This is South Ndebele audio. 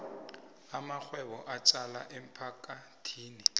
amarhwebo atjala emphakathini